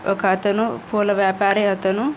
ఒక అతను పూల వ్యాపారి అతను--